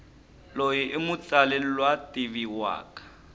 loyi imutsali lwativiwaka